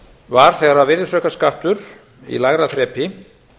var þegar virðisaukaskattur í lægra þrepi